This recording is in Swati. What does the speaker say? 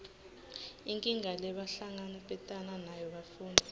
inkinga lebahlangabetana nayo bafundzi